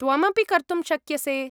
त्वमपि कर्तुं शक्यसे।